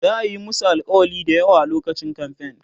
za'a Yi musu alkawali da yawa lokacin kamfen